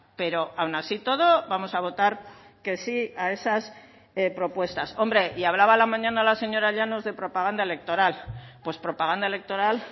pero aun así y todo vamos a votar que sí a esas propuestas hombre y hablaba a la mañana la señora llanos de propaganda electoral pues propaganda electoral